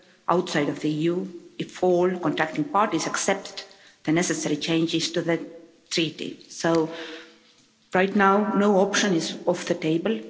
outside of the EU if all contracting parties accept the necessary changes to the treaty. So right now, no option is off the table.